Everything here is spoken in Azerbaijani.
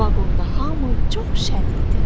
Vaqonda hamı çox şən idi.